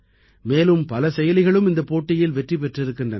மேலும் பல செயலிகளும் இந்தப் போட்டியில் வெற்றி பெற்றிருக்கின்றன